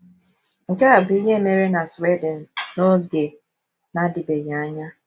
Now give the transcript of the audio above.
Nke a bụ ihe mere na Sweden n’oge na - adịbeghị anya.